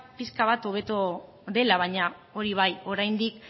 pixka bat hobeto dela baina hori bai oraindik